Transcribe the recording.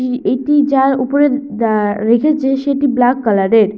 এটি যার উপরে দ্যা রেখেছে সেটি ব্ল্যাক কালার -এর।